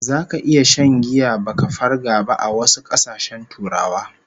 Zaka iya shan giya baka farga ba a wasu kasashen Turawa